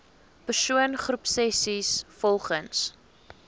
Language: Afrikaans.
persoon groepsessies volgens